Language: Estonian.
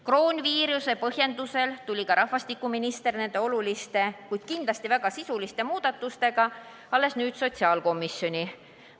Koroonaviiruse põhjendusel tuli ka rahvastikuminister nende oluliste, kuid kindlasti väga sisuliste muudatustega alles nüüd sotsiaalkomisjoni.